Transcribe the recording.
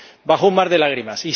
bajo un mar de lágrimas.